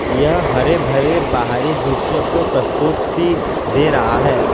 यह हरे भरे बाहरी दृश्य को प्रस्तुति दे रहा है।